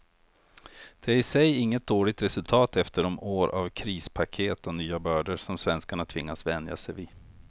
Det är i sig inget dåligt resultat efter de år av krispaket och nya bördor som svenskarna tvingats vänja sig vid.